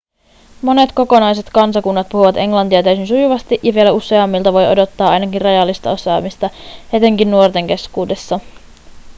monet kokonaiset kansakunnat puhuvat englantia täysin sujuvasti ja vielä useammilta voi odottaa ainakin rajallista osaamista etenkin nuorten keskuudessa